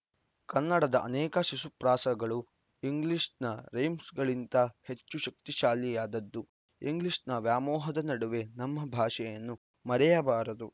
ಕನ್ನಡದ ಅನೇಕ ಶಿಶುಪ್ರಾಸಗಳು ಇಂಗ್ಲಿಷ್‌ನ ರೈಮ್ಸ್‌ಗಿಂತ ಹೆಚ್ಚು ಶಕ್ತಿಶಾಲಿಯಾದದ್ದು ಇಂಗ್ಲಿಷ್‌ ವ್ಯಾಮೋಹದ ನಡುವೆ ನಮ್ಮ ಭಾಷೆಯನ್ನು ಮರೆಯಬಾರದು